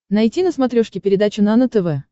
найти на смотрешке передачу нано тв